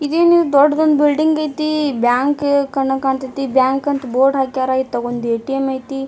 ಇದೇನಿದು ದೊಡ್ಡದೊಂದು ಬಿಲ್ಡಿಂಗ್ ಆಯ್ತಿ ಬ್ಯಾಂಕ್ ಕಂಡಂಗ್ ಕಾಣತೈತಿ ಬ್ಯಾಂಕ್ ಅಂತ ಬೋರ್ಡ್ ಹಾಕ್ಯಾರ್ ಇತ್ತಗೊಂದು ಎ.ಟಿ.ಎಮ್ ಆಯ್ತಿ.